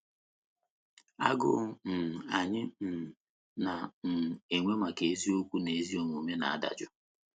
Agụụ um anyị um na um - enwe maka eziokwu na ezi omume na - adajụ.